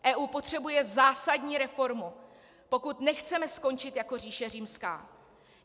EU potřebuje zásadní reformu, pokud nechceme skončit jako říše římská.